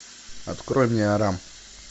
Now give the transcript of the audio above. открой мне арам